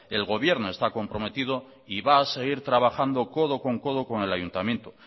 el gobierno está comprometido y va a seguir trabajando codo con codo con el ayuntamiento